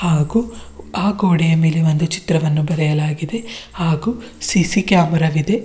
ಹಾಗು ಆ ಗೋಡೆಯ ಮೇಲೆ ಒಂದು ಚಿತ್ರವನ್ನು ಬರೆಯಲಾಗಿದೆ ಹಾಗು ಸಿ_ಸಿ ಕ್ಯಾಮೆರಾ ವಿದೆ.